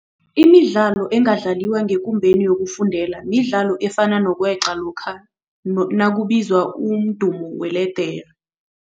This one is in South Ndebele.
Imidlalo engadlaliwa ngekumbeni yokufundela midlalo efana nokweqa lokha m nakubizwa umdumo weledere.